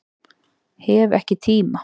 Hef ekki tíma